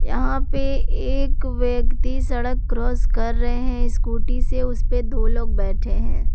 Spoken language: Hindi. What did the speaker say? यहां पे एक व्यक्ति सड़क क्रॉस कर रहे हैं स्कूटी से उस पे दो लोग बैठे हैं।